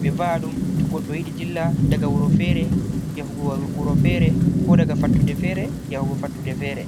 ɓe va'aɗum to goɗɗo yiɗi dilla daga wuro fere yahugo wuro fere, ko daga fattude fere yahugo fattude fere.